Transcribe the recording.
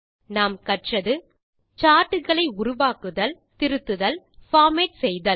நாம் கற்றது160 சார்ட் களை உருவாக்குதல் திருத்துதல் பார்மேட் செய்தல்